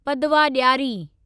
पदवा ॾियारी